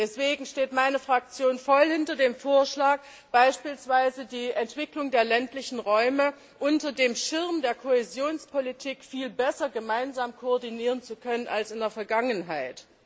Deswegen steht meine Fraktion voll hinter dem Vorschlag, beispielsweise die Entwicklung der ländlichen Räume unter dem Schirm der Kohäsionspolitik viel besser gemeinsam koordinieren zu können als in der Vergangenheit.